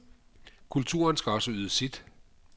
Kulturen skal også yde sit.